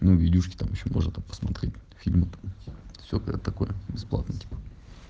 ну видюшки там ещё можно там посмотреть фильм там и все такое бесплатное типа